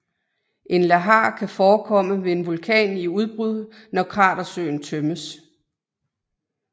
En lahar kan forekomme ved en vulkan i udbrud når kratersøen tømmes